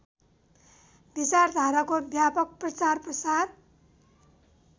विचारधाराको व्यापक प्रचारप्रसार